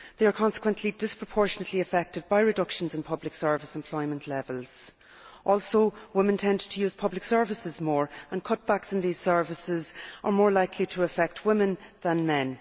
They are consequently disproportionately affected by reductions in public service employment levels. Also, women tend to use public services more, and cutbacks in these services are more likely to affect women than men.